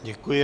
Děkuji.